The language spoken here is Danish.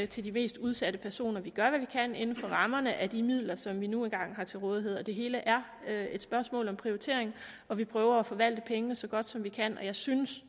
til de mest udsatte personer vi gør hvad vi kan inden for rammerne af de midler som vi nu engang har til rådighed det hele er et spørgsmål om prioritering og vi prøver at forvalte pengene så godt som vi kan jeg synes